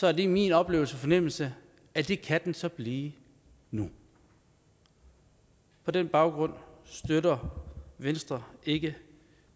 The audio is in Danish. er det min oplevelse og fornemmelse at det kan den så blive nu på den baggrund støtter venstre ikke